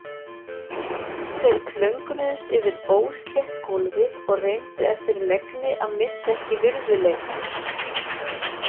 Þeir klöngruðust yfir óslétt gólfið og reyndu eftir megni að missa ekki virðuleikann.